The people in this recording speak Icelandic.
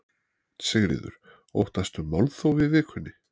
Sigríður: Óttastu málþóf í vikunni?